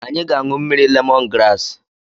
Anyị ga-anụ mmiri lemon graasị.